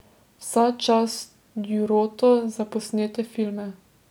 Vsa čast Djurotu za posnete filme.